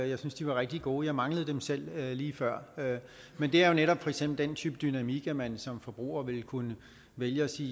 jeg synes de var rigtig gode jeg manglede dem selv lige før men det er jo for eksempel den type dynamik at man som forbruger vil kunne vælge og sige